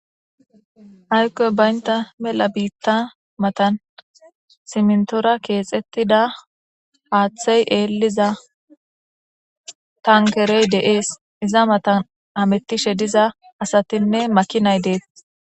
Haykkoy baynta mela biitta matan simntora keexettida haaththey eeliza tankerey deees. Iza matan amettishe diza asatinne makinay deet.